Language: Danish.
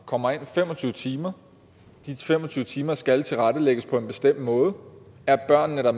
kommer ind fem og tyve timer de fem og tyve timer skal tilrettelægges på en bestemt måde og er børnene der